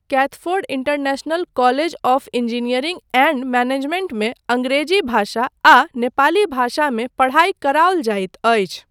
Kathford international college of engineering and मैनेजमेंटमे अङ्ग्रेजी भाषा आ नेपाली भाषामे पढ़ाई कराओल जाइत अछि।